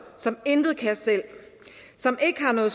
som intet kan selv som ikke har noget